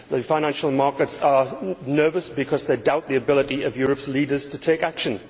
The financial markets are nervous because they doubt the ability of Europe's leaders to take action.